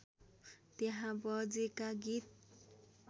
त्यहाँ बजेका गीत